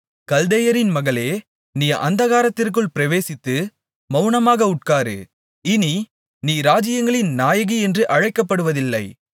கல்தேயரின் மகளே நீ அந்தகாரத்திற்குள் பிரவேசித்து மவுனமாக உட்காரு இனி நீ ராஜ்யங்களின் நாயகியென்று அழைக்கப்படுவதில்லை